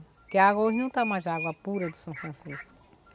Porque a água hoje não está mais água pura do São Francisco.